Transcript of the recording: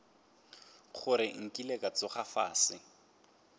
gore nkile ka tsoga fase